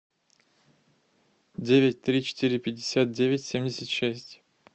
девять три четыре пятьдесят девять семьдесят шесть